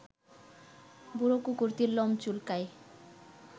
বুড়ো কুকুরটির লোম চুলকায়